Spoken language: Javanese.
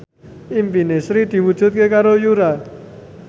impine Sri diwujudke karo Yura